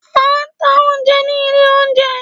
a ta oúnjẹ ní ilé oúnjẹ.